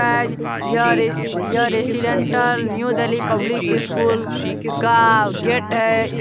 Guys यह residential New Delhi public school का gate है। इस --